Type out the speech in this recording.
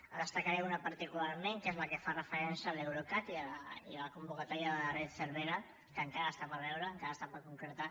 en destacaré una particularment que és la que fa referència a l’eurecat i la convocatòria de la red cervera que encara està per veure encara està per concretar